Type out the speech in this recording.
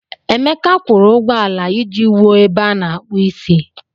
Emeka kwụrụ ụgwọ ala iji wuo ebe a na-akpụ isi.